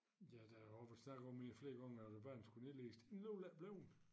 Ja der er også været snak om mere end flere gange at æ bane skulle nedlægges det den alligevel ikke bleven